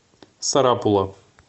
сарапула